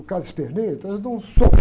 O cara esperneia, então eles dão um soco.